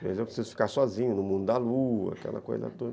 Às vezes eu preciso ficar sozinho no mundo da lua, aquela coisa toda.